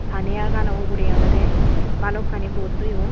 Pani agano ugurey olode balokkani boat toyon.